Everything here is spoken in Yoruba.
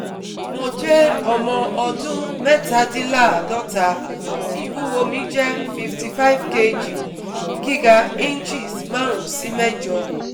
Mo je omo odun mẹ́tadínláàádọ́ta, ìwúwo mi jẹ́ fifty five kg, giga inches marun si mejo